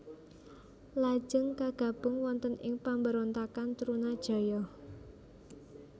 Lajeng kagabung wonten ing pemberontakan Trunajaya